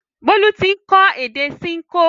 Bólú ti ń kọ́ èdè Ṣinkó